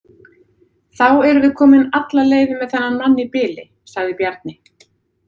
Þá erum við komin alla leið með þennan mann í bili, sagði Bjarni.